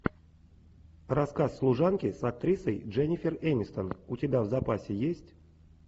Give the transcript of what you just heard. рассказ служанки с актрисой дженнифер энистон у тебя в запасе есть